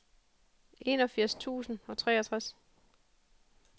enogfirs tusind og treogtres